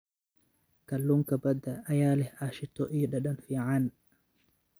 Kalluunka badda ayaa leh ashito iyo dhadhan fiican.